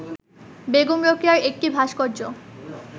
বেগম রোকেয়ার একটি ভাস্কর্য